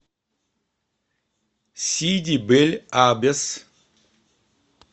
сиди бель аббес